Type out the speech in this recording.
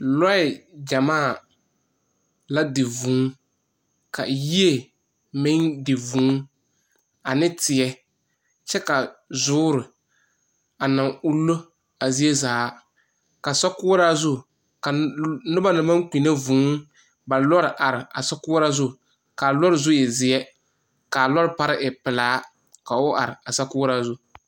Lɔɛ gyamaa la di vūū, ka yie meŋ di vūū, ane teɛ, kyɛ ka zoore a naŋ unno a zie zaa. Ka sɔkoɔraa zu, a l.., noba naŋ maŋ kpinne vūū, ba lɔɔre are a sokoɔraa zu, ka a lɔɔre zu e zeɛ, ka a lɔre pare e pelaa, ka o are a sokoɔraa zu.